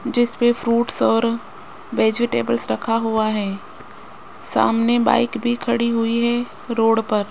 जिसपे फ्रूट्स और वेजिटेबल्स रखा हुआ है सामने बाइक भी खड़ी हुई है रोड पर।